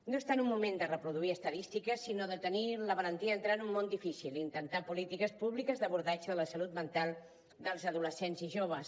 no és tant un moment de reproduir estadístiques sinó de tenir la valentia d’entrar en un mon difícil i intentar polítiques públiques d’abordatge de la salut mental dels adolescents i joves